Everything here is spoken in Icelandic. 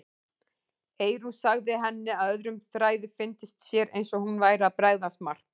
Eyrún sagði henni að öðrum þræði fyndist sér eins og hún væri að bregðast Mark.